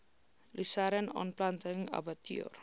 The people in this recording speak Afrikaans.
lusern aanplanting abbatior